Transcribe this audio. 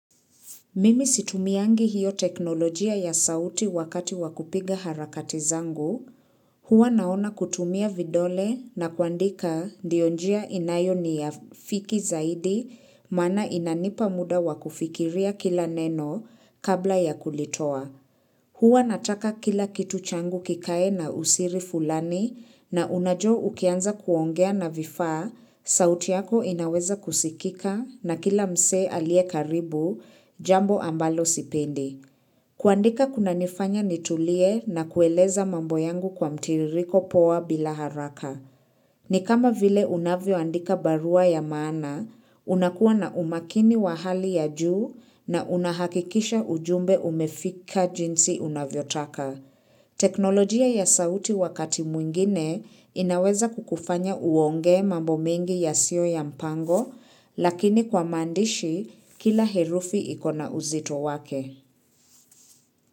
Mimi situmiangi hiyo teknolojia ya sauti wakati wa kupiga harakati zangu, huwa naona kutumia vidole na kuandika ndiyo njia inayo niiafiki zaidi maana inanipa muda wa kufikiria kila neno kabla ya kulitoa. Huwa nataka kila kitu changu kikae na usiri fulani na unajua ukianza kuongea na vifaa, sauti yako inaweza kusikika na kila msee aliyekaribu jambo ambalo sipendi. Kuandika kuna nifanya nitulie na kueleza mambo yangu kwa mtiririko poa bila haraka. Ni kama vile unavyo andika barua ya maana, unakuwa na umakini wa hali ya juu na unahakikisha ujumbe umefika jinsi unavyo taka. Teknolojia ya sauti wakati mwingine inaweza kukufanya uongee mambo mengi yasio ya mpango, lakini kwa maandishi kila herufi ikona uzito wake.